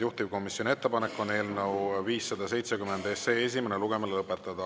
Juhtivkomisjoni ettepanek on eelnõu 570 esimene lugemine lõpetada.